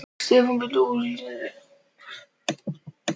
Stefán beindi athygli Þjóðverjans að lækjunum sem römmuðu húsin inn.